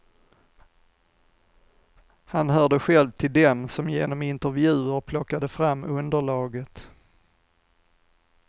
Han hörde själv till dem som genom intervjuer plockade fram underlaget.